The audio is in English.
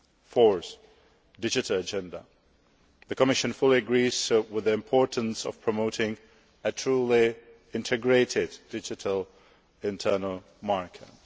Fourthly, on the digital agenda, the Commission fully agrees with the importance of promoting a truly integrated digital internal market.